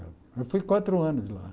Eu fui quatro anos de lá.